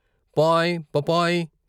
పాయ్ పపాయ్.